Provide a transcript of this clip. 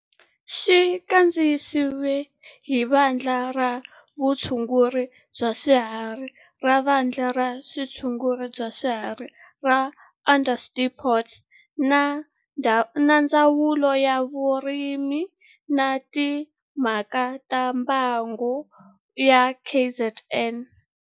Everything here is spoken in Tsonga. Xi kandziyisiwe hi Vandla ra Vutshunguri bya swiharhi ra Vandla ra Vutshunguri bya swiharhi ra Onderstepoort na Ndzawulo ya Vurimi na Timhaka ta Mbango ya KwaZulu-Natal.